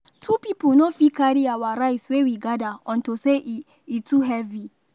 two people no fit carry our rice wey we gather unto say e e too heavy